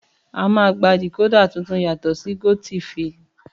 Àmá gbà dikodà tìtún yàtọ si gotifi